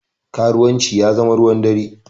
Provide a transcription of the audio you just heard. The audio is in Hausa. Karuwanci ya zama ruwan dare